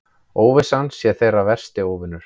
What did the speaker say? Óvissan sé þeirra versti óvinur.